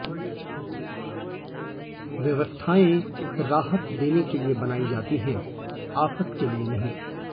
व्यवस्थाएं राहत देने के लिए बनाई जाती है आफत के लिए नहीं